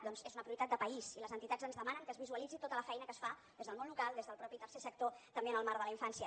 doncs és una prioritat de país i les entitats ens demanen que es visualitzi tota la feina que es fa des del món local des del mateix tercer sector també en el marc de la infància